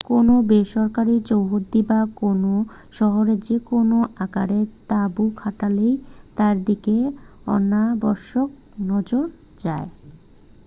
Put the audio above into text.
কোনও বেসরকারি চৌহদ্দি বা কোনও শহরে যে কোনও আকারের তাঁবু খাটালেই তার দিকে অনাবশ্যক নজর যায়